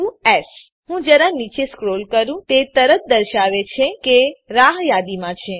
two એસ ચાલો હું જરા નીચે સ્ક્રોલ કરું તે તરત દર્શાવે છે કે તે રાહ યાદીમાં છે